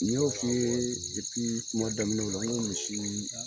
N ɲ'o fi ye kuma daminɛw la, n ko misi